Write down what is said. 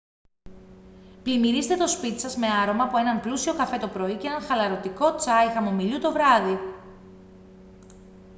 πλημμυρίστε το σπίτι σας με άρωμα από έναν πλούσιο καφέ το πρωί και ένα χαλαρωτικό τσάι χαμομηλιού το βράδυ